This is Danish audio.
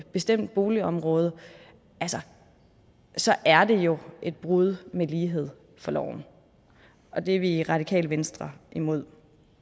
bestemt boligområde så så er det jo et brud med lighed for loven og det er vi i radikale venstre imod